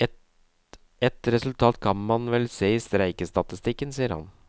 Et resultat kan man vel se i streikestatistikken, sier han.